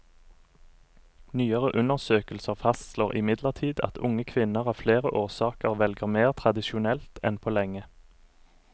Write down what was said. Nyere undersøkelser fastslår imidlertid at unge kvinner av flere årsaker velger mer tradisjonelt enn på lenge.